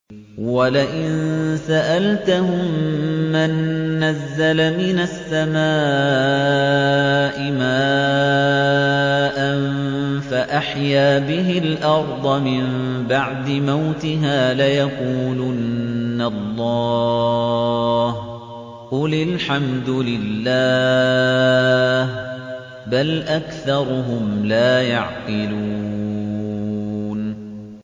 وَلَئِن سَأَلْتَهُم مَّن نَّزَّلَ مِنَ السَّمَاءِ مَاءً فَأَحْيَا بِهِ الْأَرْضَ مِن بَعْدِ مَوْتِهَا لَيَقُولُنَّ اللَّهُ ۚ قُلِ الْحَمْدُ لِلَّهِ ۚ بَلْ أَكْثَرُهُمْ لَا يَعْقِلُونَ